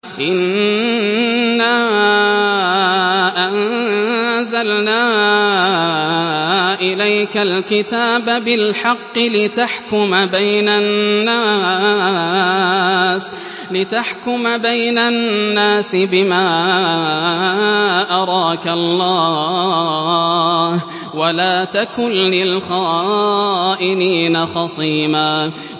إِنَّا أَنزَلْنَا إِلَيْكَ الْكِتَابَ بِالْحَقِّ لِتَحْكُمَ بَيْنَ النَّاسِ بِمَا أَرَاكَ اللَّهُ ۚ وَلَا تَكُن لِّلْخَائِنِينَ خَصِيمًا